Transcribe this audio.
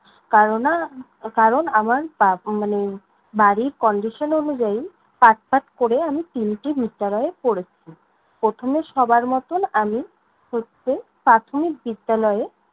কারণ আ~ কারণ আমার বা~ মানে বাড়ীর condition অনুযায়ী, কাজ-টাজ করে আমি তিনটি বিদ্যালয়ে পড়েছি। প্রথমে সবার মতন আমি হচ্ছে প্রথমিক বিদ্যালয়ে